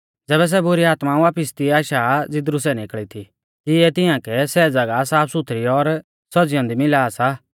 ज़ैबै सै बुरी आत्मा वापिस तिऐ आशा ज़ीदरु सै निकल़ी थी तिऐ तिआंकै सै ज़ागाह साफसुथरी और सज़ी औन्दी मिला सा